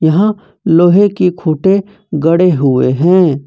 यहां लोहे की खूंटे गड़े हुए हैं।